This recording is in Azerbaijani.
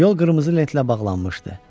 Yol qırmızı lentlə bağlanmışdı.